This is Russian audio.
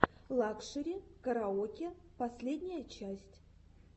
лакшери караоке последняя часть